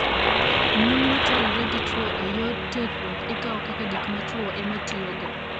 Mon ma terore gi chwo e yor terruok ikawo kaka gik ma chwo ema tiyogo.